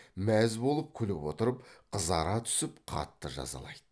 мәз болып күліп отырып қызара түсіп қатты жазалайды